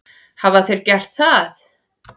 Hafa þeir gert það?